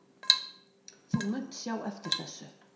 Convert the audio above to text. Þú munt sjá eftir þessu